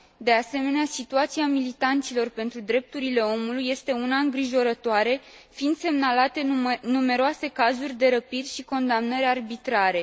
De asemenea, situația militanților pentru drepturile omului este una îngrijorătoare fiind semnalate numeroase cazuri de răpiri și condamnări arbitrare.